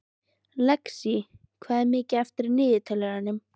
Lexí, hvað er mikið eftir af niðurteljaranum?